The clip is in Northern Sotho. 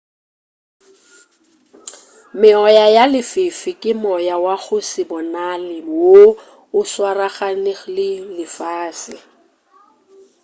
meoya ya lefifi ke moya wa go se bonale woo o swaraganego le lefase